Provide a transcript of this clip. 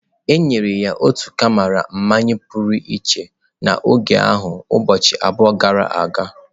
E nyere ya otu karama mmanya pụrụ iche n’oge ahụ ụbọchị abụọ gara aga.